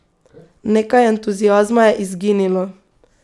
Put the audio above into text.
Nekaj entuziazma je izginilo.